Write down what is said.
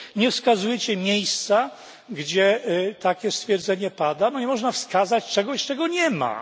Nie wskazujecie miejsca, gdzie takie stwierdzenie pada, bo nie można wskazać czegoś, czego nie ma.